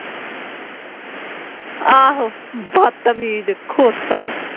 ਆਹੋ ਬਤਮੀਜ਼ ਖੋਤਾ